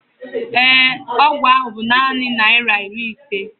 ee, ọgwụ ahụ bu naanị naira iri ise